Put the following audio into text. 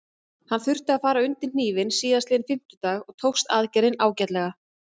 Hann þurfti að fara undir hnífinn síðastliðinn fimmtudag og tókst aðgerðin ágætlega.